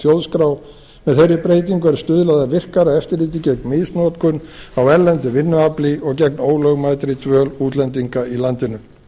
þjóðskrá með þeirri breytingu er stuðlað að virkara eftirliti gegn misnotkun á erlendu vinnuafli og gegn ólögmætri dvöl útlendinga í landinu